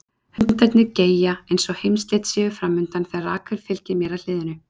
Hundarnir geyja eins og heimsslit séu fram undan þegar Rakel fylgir mér að hliðinu.